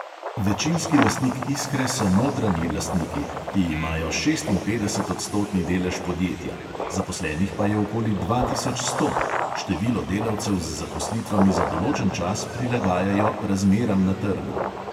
Večinski lastnik iskre so notranji lastniki, ki imajo šestinpetdesetodstotni delež podjetja, zaposlenih pa je okoli dva tisoč sto – število delavcev z zaposlitvami za določen čas prilagajajo razmeram na trgu.